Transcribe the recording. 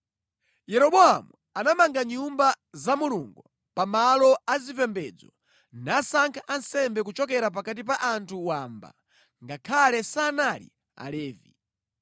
Yeroboamu anamanga Nyumba za Mulungu pa malo azipembedzo nasankha ansembe kuchokera pakati pa anthu wamba, ngakhale sanali Alevi.